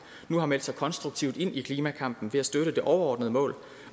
nu har meldt sig konstruktivt ind i klimakampen ved at støtte det overordnede mål